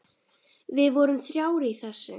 Við vorum þrjár í þessu.